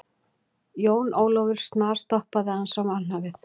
Jón Ólafur snarstoppaði þegar hann sá mannhafið.